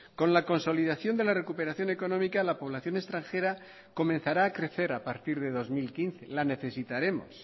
con la consolidación de la recuperación económica la población extranjera comenzará a crecer a partir de dos mil quince la necesitaremos